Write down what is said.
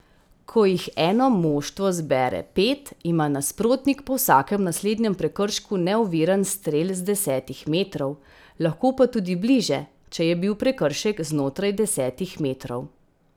Ko jih eno moštvo zbere pet, ima nasprotnik po vsakem naslednjem prekršku neoviran strel z desetih metrov, lahko pa tudi bliže, če je bil prekršek znotraj desetih metrov.